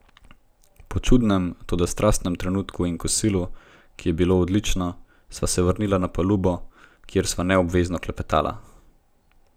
Po čudnem, toda strastnem trenutku in kosilu, ki je bilo odlično, sva se vrnila na palubo, kjer sva neobvezno klepetala.